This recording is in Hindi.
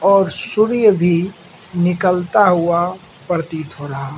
और शुर्य भी निकलता हुआ प्रतीत हो रहा --